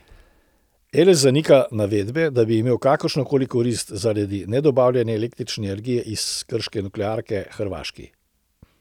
Eles zanika navedbe, da bi imel kakršno koli korist zaradi nedobavljene električne energije iz krške nuklearke Hrvaški.